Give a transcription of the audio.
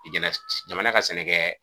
Jamana ka sɛnɛ kɛ